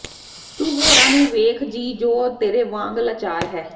ਤੂੰ ਹੋਰਾਂ ਨੂੰ ਵੇਖ ਜੀ ਜੋ ਤੇਰੇ ਵਾਂਗ ਲਾਚਾਰ ਹੈ